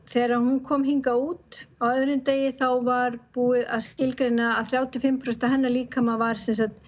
þegar hún kom hingað út á öðrum degi þá var búið að skilgreina að þrjátíu og fimm prósent af hennar líkama var